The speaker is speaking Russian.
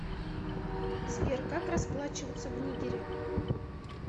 сбер как расплачиваться в нигере